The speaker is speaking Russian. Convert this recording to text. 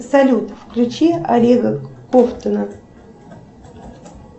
салют включи олега ковтуна